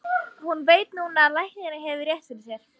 Og hún veit núna að læknirinn hefur rétt fyrir sér.